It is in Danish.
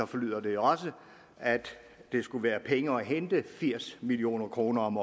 forlyder det også at der skulle være penge at hente firs million kroner om